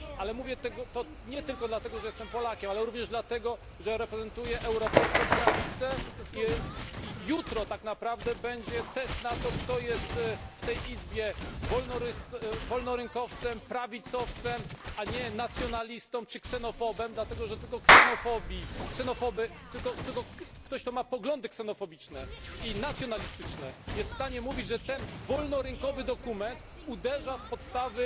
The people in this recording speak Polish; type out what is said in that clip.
Jednak mówię to nie tylko dlatego, że jestem Polakiem, ale również dlatego, że reprezentuję europejską prawicę. Jutro tak naprawdę będzie test tego, kto tak naprawdę w tej Izbie jest wolnorynkowcem, prawicowcem, a nie nacjonalistą czy ksenofobem, dlatego że tylko ksenofobowie, tylko ktoś, kto ma poglądy ksenofobiczne i nacjonalistyczne, jest w stanie mówić, że ten wolnorynkowy dokument uderza w podstawy